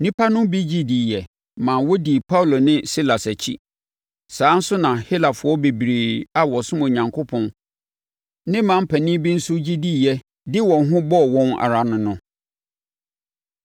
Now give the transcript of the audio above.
Nnipa no bi gye diiɛ maa wɔdii Paulo ne Silas akyi. Saa ara nso na Helafoɔ bebree a wɔsom Onyankopɔn ne mmaa mpanin bi nso gye diiɛ de wɔn ho bɔɔ wɔn ara no no.